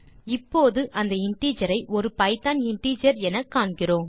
இப்போது அந்த இன்டிஜர் ஒரு பைத்தோன் இன்டிஜர் எனக்காண்கிறோம்